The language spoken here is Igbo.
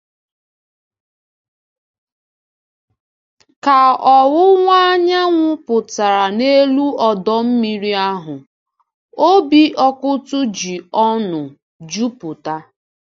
Ka ọ̀wụ̀wa anyanwụ pụtara n’elu ọdọ mmiri ahụ, obi Ọkụ́tụ̀ ji ọṅụ juputa.